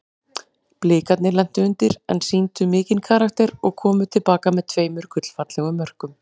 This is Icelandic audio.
Blikarnir lentu undir en sýndu mikinn karakter og komu til baka með tveimur gullfallegum mörkum.